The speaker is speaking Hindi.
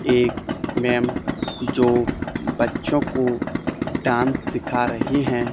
एक मैम जो बच्चों को डांस सिखा रही हैं।